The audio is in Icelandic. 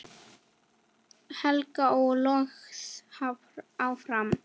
held ég loks áfram.